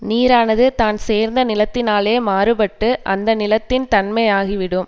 நீரானது தான் சேர்ந்த நிலத்தினாலே மாறுபட்டு அந்த நிலத்தின் தன்மையாகிவிடும்